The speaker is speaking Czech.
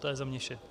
To je za mě vše.